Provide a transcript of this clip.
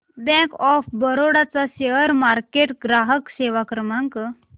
bank of Baroda चा share market ग्राहक सेवा क्रमांक